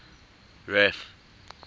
ref